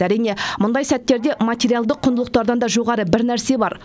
әрине мұндай сәттерде материалдық құндылықтардан да жоғары бір нәрсе бар